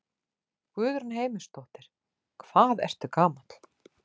Guðrún Heimisdóttir: Hvað ertu gamall?